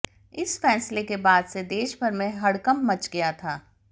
इस फैसले के बाद से देशभर में हड़कंप मच गया था